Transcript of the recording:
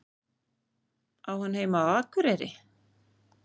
Á hann heima á Akureyri?